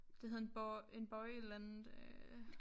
Det hed en en boy et eller andet øh